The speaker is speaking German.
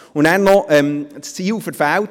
Dann habe es noch das Ziel verfehlt: